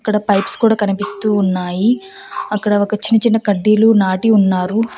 ఇక్కడ పైప్స్ కూడా కనిపిస్తూ ఉన్నాయి అక్కడ ఒక చిన్న చిన్న కడ్డీలు నాటి ఉన్నారు.